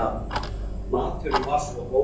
Maturinn var svo góður!